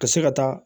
Ka se ka taa